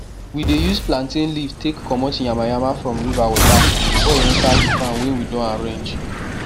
we dey use plantain leave take comot yamayama from river water before e enter di farm wey we don arrange